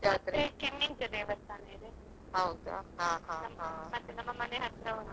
ದೇವಸ್ಥಾನ ಇದೆ.